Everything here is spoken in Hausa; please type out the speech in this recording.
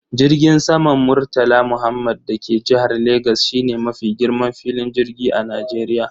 Jirgin saman murtala muhammed da ke jihar legas shine mafi girman filin jirgi a Najeriya.